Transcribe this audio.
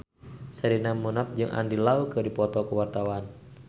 Sherina Munaf jeung Andy Lau keur dipoto ku wartawan